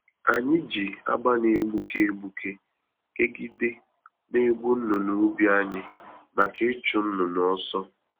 Anyị ji agba na-egbuke egbuke kegide na egwu-nnụnụ ubi anyị, maka ịchụ nnụnụ ọsọ.